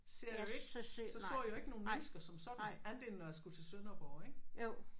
Ser jeg jo ikke så så jeg jo ikke nogle mennesker som sådan andet end når jeg skulle til Sønderborg ik